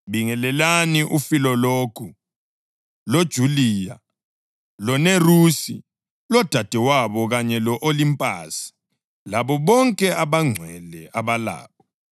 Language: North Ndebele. Bingelelani uFilologu, loJuliya, loNerusi lodadewabo, kanye lo-Olimpasi labo bonke abangcwele abalabo.